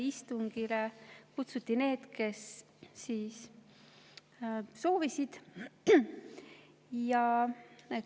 Istungile kutsuti need, kes soovisid.